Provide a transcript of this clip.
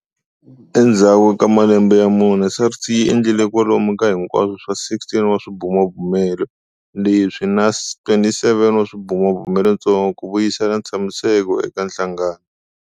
Endzhaku ka malembe ya mune, SARS yi endlile kwalomu ka hinkwaswo swa 16 wa swibumabumelo leswi na 27 wa swibumabumelotsongo ku vuyisela ntshamiseko eka nhlangano.